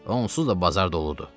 Onsuz da bazar doludur.